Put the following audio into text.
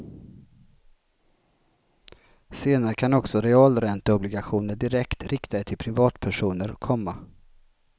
Senare kan också realränteobligationer direkt riktade till privatpersoner komma.